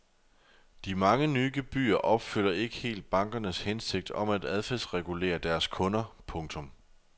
De mange nye gebyrer opfylder ikke helt bankernes hensigt om at adfærdsregulere deres kunder. punktum